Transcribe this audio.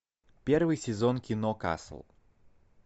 первый сезон кино касл